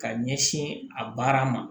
Ka ɲɛsin a baara ma